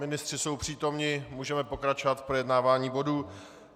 Ministři jsou přítomni, můžeme pokračovat v projednávání bodu.